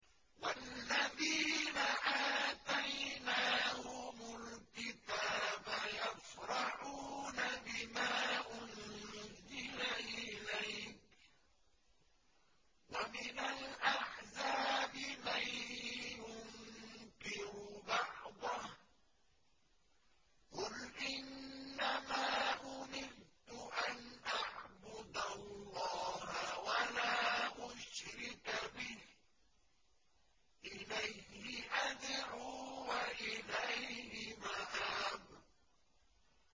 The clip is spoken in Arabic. وَالَّذِينَ آتَيْنَاهُمُ الْكِتَابَ يَفْرَحُونَ بِمَا أُنزِلَ إِلَيْكَ ۖ وَمِنَ الْأَحْزَابِ مَن يُنكِرُ بَعْضَهُ ۚ قُلْ إِنَّمَا أُمِرْتُ أَنْ أَعْبُدَ اللَّهَ وَلَا أُشْرِكَ بِهِ ۚ إِلَيْهِ أَدْعُو وَإِلَيْهِ مَآبِ